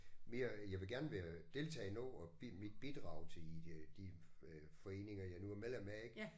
Mere jeg vil gerne være deltage i noget og give mit bidrag til øh de øh foreninger jeg nu er medlem af ik